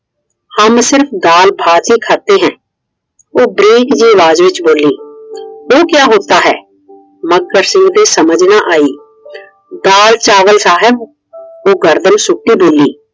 हम सिर्फ दाल भात ही खाते है । ਉਹ ਬਾਰੀਕ ਜਿਹੀ ਆਵਾਜ਼ ਚ ਬੋਲੀ। वो क्या होता है । ਮੱਘਰ ਸਿੰਘ ਦੇ ਸਮਝ ਨਾ ਆਇ। दाल चावल साहिब । ਉਹ ਗਰਦਨ ਸੁੱਟ ਕੇ ਬੋਲੀ।